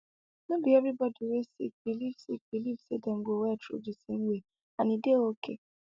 no be every body wey sick believe sick believe say dem go well through di same way and e dey okay